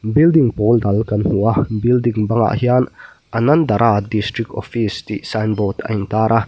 building pawl dal kan hmu a building bangah hian anandh dhara district office tih sign board a intar a.